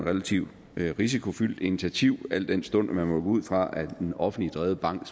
relativt risikofyldt initiativ al den stund at man må gå ud fra at en offentligt drevet bank